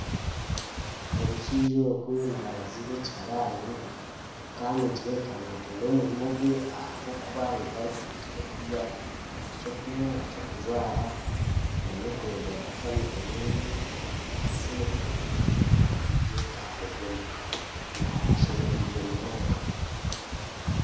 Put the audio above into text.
Omushaija ogu nabaziira ekiharaani kandi nikireebeka naakunda omurimo gwe ahabw’okuba nimwo arikwiha eky'okurya, eky'okunywa, eky'okujwara n'okureeberera eka ye omu by'akasente n'ebyetango by'omuka ashemerirwe munonga.